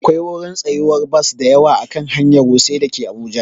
Akwai wurin tsayuwar bas dayawa a kan hanyar wuse dake abuja